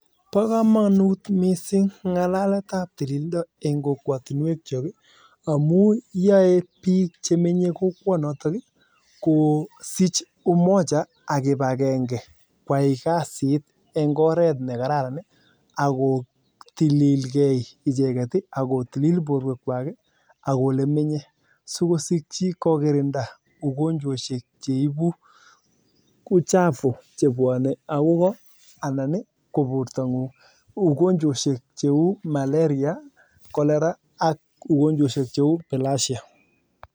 Tililindo koboo kamanut missing amuu yaee bik chemenyee yotok kosich kipakenge kwai kasit eng koret ne kararan ii akotilil borwek kwak sikosikchii kokirindaa (ugonjwoshek) chebuu (uchafu) cheuu malaria